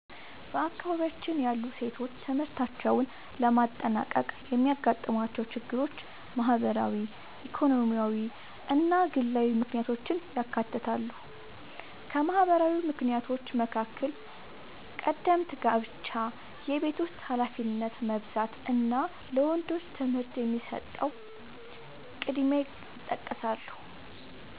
በአካባቢያችን ያሉ ሴቶች ትምህርታቸውን ለማጠናቀቅ የሚያጋጥሟቸው ችግሮች ማህበራዊ፣ ኢኮኖሚያዊ እና ግላዊ ምክንያቶችን ያካትታሉ። ከማህበራዊ ምክንያቶች መካከል ቀደምት ጋብቻ፣ የቤት ውስጥ ኃላፊነት መብዛት እና ለወንዶች ትምህርት የሚሰጠው ቅድሚያ ይጠቀሳሉ።